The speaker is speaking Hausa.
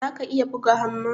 zaka iya buga hamma?